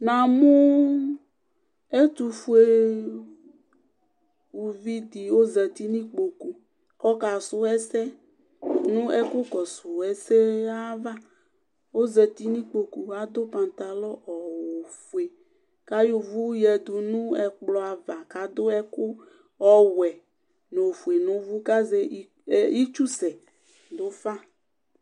Namʋ ɛtʋfʋe ʋvidi ɔzati nʋ ikpokʋ kʋ ɔkasʋ ɛsɛ nʋ ɛkʋ kɔsʋ ɛsɛ ava ezati nʋ ikpokʋ adʋ patalɔ ofʋe kʋ ayɔ ʋvʋ yadʋ nʋ ɛkplɔ ava kʋ adʋ ɛkʋ ɔwɛ nʋ ofʋe nʋ ʋvʋ itsusɛ dʋfa